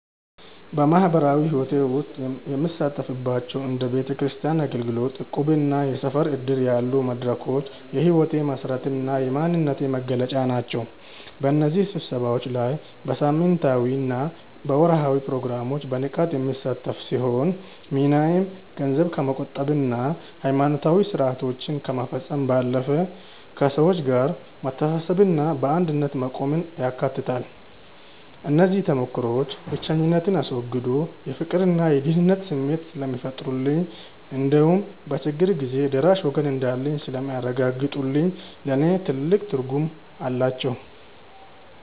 በማኅበራዊ ሕይወቴ ውስጥ የምሳተፍባቸው እንደ ቤተክርስቲያን አገልግሎት፣ እቁብና የሰፈር ዕድር ያሉ መድረኮች የሕይወቴ መሠረትና የማንነቴ መገለጫ ናቸው። በእነዚህ ስብሰባዎች ላይ በሳምንታዊና በወርኃዊ ፕሮግራም በንቃት የምሳተፍ ሲሆን፣ ሚናዬም ገንዘብ ከመቆጠብና ሃይማኖታዊ ሥርዓቶችን ከመፈጸም ባለፈ፣ ከሰዎች ጋር መተሳሰብንና በአንድነት መቆምን ያካትታል። እነዚህ ተሞክሮዎች ብቸኝነትን አስወግደው የፍቅርና የደህንነት ስሜት ስለሚፈጥሩልኝ እንዲሁም በችግር ጊዜ ደራሽ ወገን እንዳለኝ ስለሚያረጋግጡልኝ ለእኔ ትልቅ ትርጉም አላቸው።